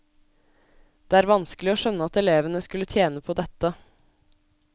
Det er vanskelig å skjønne at elevene skulle tjene på dette.